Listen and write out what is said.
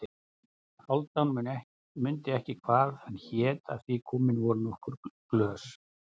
Hálfdán mundi ekki hvað hét af því komin voru nokkur glös.